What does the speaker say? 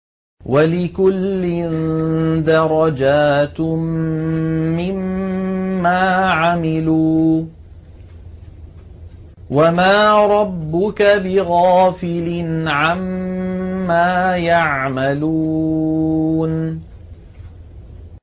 وَلِكُلٍّ دَرَجَاتٌ مِّمَّا عَمِلُوا ۚ وَمَا رَبُّكَ بِغَافِلٍ عَمَّا يَعْمَلُونَ